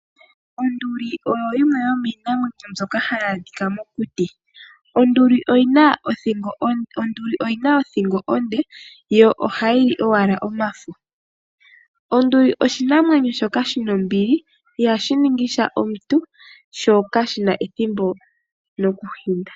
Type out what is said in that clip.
Onduli oyo yimwe yomiinamwenyo mbyoka hayi adhika mokuti. Onduli oyina othingo onde, yo ohayi li owala omafo. Onduli oshinamwenyo shoka shina ombili, ihashi ningi sha omuntu, sho kashina ethimbo lyoku hinda.